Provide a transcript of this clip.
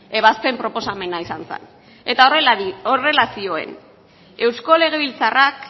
ebazpen proposamena izan zen eta horrela zioen eusko legebiltzarrak